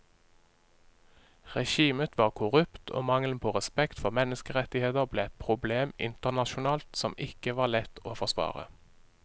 Regimet var korrupt og mangelen på respekt for menneskerettigheter ble et problem internasjonalt som ikke var lett å forsvare.